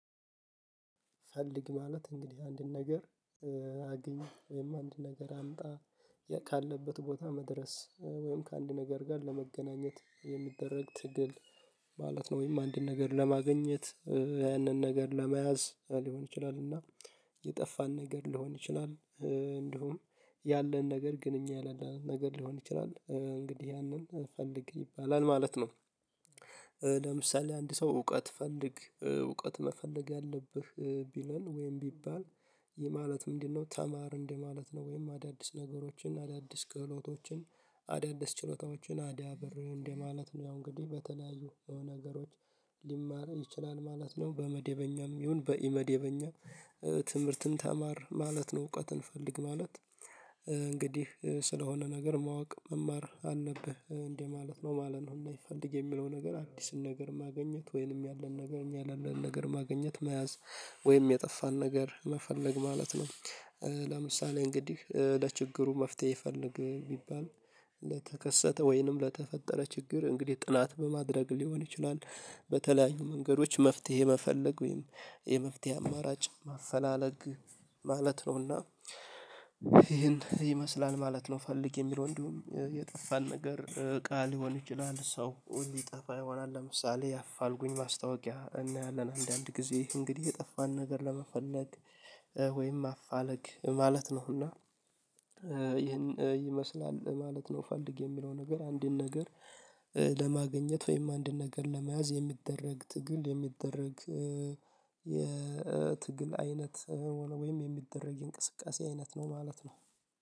ፈልግ ማለት እንግዲህ አንድን ነገር አግኝ ወይም አንድ ነገር አምጣ ካለበት ቦታ መድረስ ወይም ከአንድ ነገር ጋር ለመገናኘት የሚደረግ ትግል ማለት ነው። ወይም አንድን ነገር ለማግኘት ያንን ነገር ለመያዝ ሊሆን ይችላል። እና የጠፋን ነገር ሊሆን ይችላል። እንዲሁም ያለን ነገር ግን እኛ የሌለንን ነገር ሊሆን ይችላል እንግዲህ ያንን ፈልግ ይባላል ማለት ነው። ለምሳሌ አንድ ሰው እውቀት ፈልግ እውቀት መፈለግ ያለብህ ቢለን ወይም ቢባል ይህ ማለት ምንድነው? ተማር እንደማለት ነው። ወይም አዳዲስ ነገሮችን አዳዲስ ክህሎቶችን አዳዲስ ችሎታዎችን አዳብር እንደማለት ነው። እንግዲህ በተለያዩ የሆነ ነገሮች ሊማርም ይችላል ማለት ነው። በመደበኛም ይሁን በኢመደበኛ ትምህርትን ተማር ማለት ነው። እውቀትን ፈልግ ማለት እንግዲህ ስለሆነ ነገር ማወቅ መማር አለብህ እንደ ማለት ነው ማለት ነው። እና ይፈልግ የሚለው ነ ገር አዲስን ነገር ማግኘት ወይንም ያለን ነገር እኛ ያለን ነገር ማግኘት መያዝ ወይንም የጠፋን ነገር መፈለግ ማለት ነው። ለምሳሌ እንግዲህ ለችግሩ መፍትሄ ፈልግ ቢባል ለተከሰተ ወይንም ለተፈጠረ ችግር እንግዲህ ጥናት በማድረግ ሊሆን ይችላል። በተለያዩ መንገዶች መፍትሄ መፈለግ ወይም የመፍትሄ አማራጭ ማፈላለግ ማለት ነውና። ይሄን ይመስላል ማለት ነው ፈልጌ የሚለው እንዲሁም የጠፋን ነገር ቃል ሊሆን ይችላል ሰው ሊጠፋ ይሆናል። ለምሳሌ ያፋልጉኝ ማስታወቂያ እናያለን አንዳንድ ጊዜ እንግዲህ የጠፋን ነገር ለመፈለግ ወይም ማፋለግ ማለት ነው። እና ይህን ይመስላል ማለት ነው። ፈልግ የሚለው ነገር አንድን ነገር ለማግኘት ወይም አንድን ነገር ለመያዝ የሚደረግ ትግል የሚደረግ የትግል አይነት ወይም የሚደረግ የእንቅስቃሴ አይነት ነው ማለት ነው።